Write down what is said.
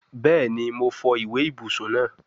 Bẹẹni, Mo fọ iwe ibusun naa